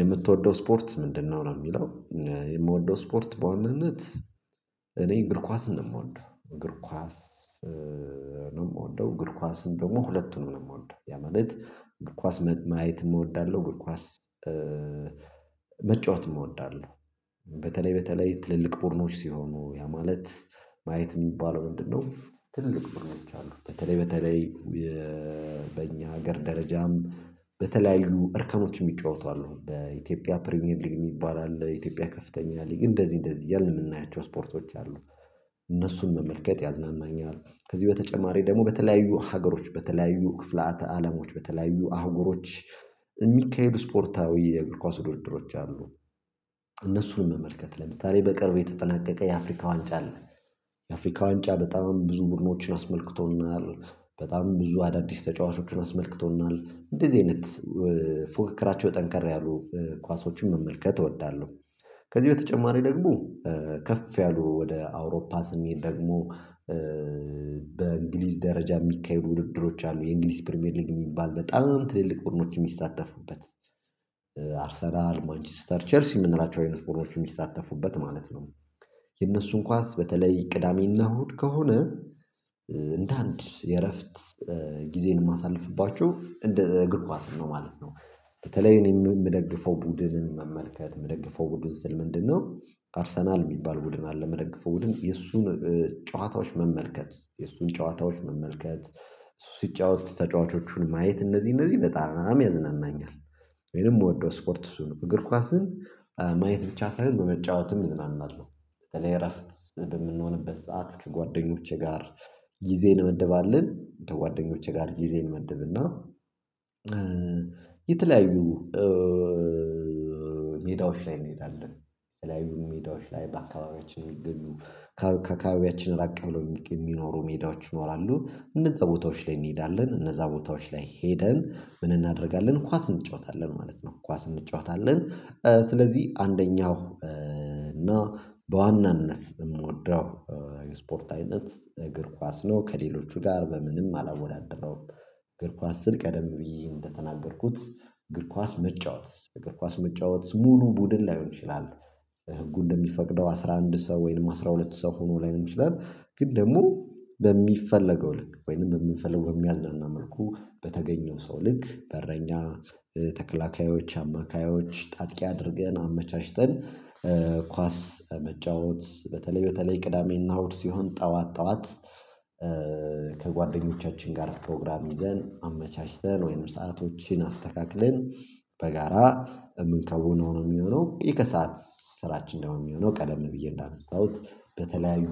የምትወደው ስፖርት ምንድነው? ነው ለሚለው የምወደው ስፖርት በዋናነት። እኔ እግር ኳስ ነው የምወደው እግር ኳስ። ነው የምወደው እግር ኳስን ደግሞ ሁለቱንም ነው የምወደው ያ ማለት። ኳስ ማየትም እወዳለሁ እግር ኳስ መጫወትም እወዳለሁ። በተለይ በተለይ ትልልቅ ቡድኖች ሲሆኑ ያ ማለት ማየት የሚባለው ምንድነው? ትልልቅ ቡድኖች አሉ በተለይ በተለይ። በእኛ ሀገር ደረጃም በተለያዩ እርከኖች የሚጫወቱ አሉ በኢትዮጵያ ፕሪሚየር ሊግ የሚባል አለ ኢትዮጵያ ከፍተኛ ሊግ እንደዚህ እንደዚህ እያልን የምናያቸው ስፖርቶች አሉ። እነሱን መመልከት ያዝናናኛል። ከዚህ በተጨማሪ ደግሞ በተለያዩ ሀገሮች በተለያዩ ክፍለ አት አለሞች በተለያዩ አህጉሮች። የሚካሄዱ ስፖርታዊ የእግር ኳስ ውድድሮች አሉ። እነሱን መመልከት ለምሳሌ በቅርብ የተጠናቀቀ የአፍሪካ ዋንጫ አለ። የአፍሪካ ዋንጫ በጣም ብዙ ቡድኖችን አስመልክቶናል በጣም ብዙ አዳዲስ ተጫዋቾችን አስመልክቶናል እንደዚህ አይነት ፉክክራቸው ጠንካራ ያሉ ኳሶችን መመልከት እወዳለሁ። ከዚህ በተጨማሪ ደግሞ ከፍ ያሉ ወደ አውሮፓ ስንሄድ ደግሞ። በእንግሊዝ ደረጃ የሚካሄዱ ውድድሮች አሉ የእንግሊዝ ፕሪሚየር ሊግ የሚባል በጣም ትልልቅ ቡድኖች የሚሳተፉበት አርሰናል ማንችስተር ቼልሲ የምንላቸው አይነት ቡድኖች የሚሳተፉበት ማለት ነው። የእነሱን ኳስ በተለይ ቅዳሜና እሁድ ከሆነ። እንደ አንድ የእረፍት ጊዜን የማሳልፍባቸው እንደ እግር ኳስ ነው ማለት ነው። በተለይ እኔ የምደግፈው ቡድንን መመልከት የምደግፈው ቡድን ስል ምንድነው? አርሰናል የሚባል ቡድን አለ የምደግፈው ቡድን የእሱን ጨዋታዎች መመልከት የእሱን ጨዋታዎች መመልከት ሲጫወት ተጫዋቾቹን ማየት እነዚህ እነዚህ በጣም ያዝናናኛል። ወይንም የምወደው ስፖርት እሱ ነው እግር ኳስን ማየት ብቻ ሳይሆን በመጫወትም እዝናናለሁ በተለይ እረፍት በምንሆንበት ሰዓት ከጓደኞቼ ጋር። ጊዜን እንመደባለን ከጓደኞቼ ጋር ጊዜ እንመደብና። የተለያዩ ሜዳዎች ላይ እንሄዳለን። የተለያዩ ሜዳዎች ላይ በአካባቢያችን ሚገኙ ከአካባቢያችን ራቅ ብሎ የሚኖሩ ሜዳዎች ይኖራሉ እነዛ ቦታዎች ላይ እንሄዳለን እነዛ ቦታዎች ላይ ሄደን ምን እናደርጋለን ኳስ እንጫወታለን ማለት ነው ኳስ እንጫወታለን። ስለዚህ አንደኛው እና በዋናነት የምወደው የስፖርት አይነት እግር ኳስ ነው ከሌሎቹ ጋር በምንም አላወዳደረውም። እግር ኳስ ስል ቀደም ብዬ እንደተናገርኩት እግር ኳስ መጫወት እግር ኳስ መጫወት ሙሉ ቡድን ላይሆን ይችላል። ህጉ እንደሚፈቅደው አስራ አንድ ሰው ወይም አስራ ሁለት ሰው ሆኖ ላይሆን ይችላል ግን ደግሞ በሚፈለገው ልክ ወይንም በምንፈልገው በሚያዝናናን መልኩ በተገኘው ሰው ልክ በረኛ ተከላካዮች አማካዮች አጥቂ አድርገን አመቻችተን። ኳስ መጫወት በተለይ በተለይ ቅዳሜና እሁድ ሲሆን ጠዋት ጠዋት። ከጓደኞቻችን ጋር ፕሮግራም ይዘን አመቻችተን ወይም ሰአቶችን አስተካክለን። በጋራ የምንከውነው ነው የሚሆነው የከሰአት ስራችን ደግሞ የሚሆነው ቀደም ብዬ እንዳነሳሁት በተለያዩ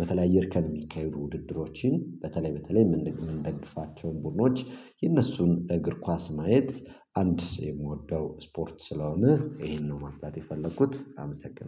በተለያዩ እርከን የሚካሄዱ ውድድሮችን በተለይ በተለይ የምንደግፋቸውን ቡድኖች የእነሱን እግር ኳስ ማየት። አንድ የምወደው ስፖርት ስለሆነ ይሄንን ነው ማንሳት የፈለኩት አመሰግናለሁ